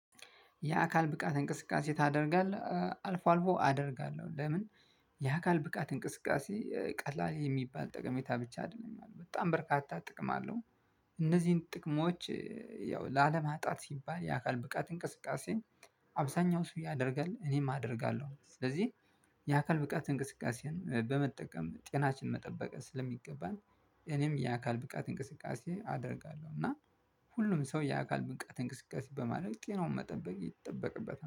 የአካል ብቃት እንቅስቃሴ ታደርጋለህ አልፎ አልፎ አደርጋለሁ ለምን? የአካል ብቃት እንቅስቃሴ ቀላል የሚባል ጠቀሜታ ብቻ አይደለኝም በጣም በርካታ ጥቅም አለው። እነዚህን ጥቅሞች ያው ላለማጣት ሲባል የአካል ብቃት እንቅስቃሴ አብዛኛው ሰው ያደርጋል እኔም አደርጋለሁ። ስለዚህ የአካል ብቃት እንቅስቃሴን በመጠቀም ጤናችንን መጠበቅ ስለሚገባን እኔም የአካል ብቃት እንቅስቃሴ አደርጋለሁ። እና ሁሉም ሰው የአካል ብቃት እንቅስቃሴ በማድረግ ጤናውን መጠበቅ ይጠበቅበታል